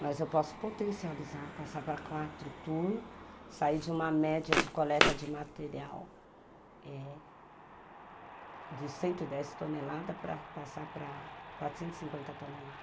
Mas eu posso potencializar, passar para quatro turnos, sair de uma média de coleta de material eh de cento e dez toneladas para passar para quatrocentos e cinquenta toneladas.